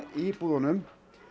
í búðum